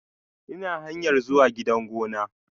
Ina hanyar zuwa gidan gona.